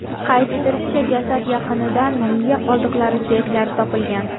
Qayd etilishicha, jasad yaqinidan miya qoldiqlari, suyaklari topilgan.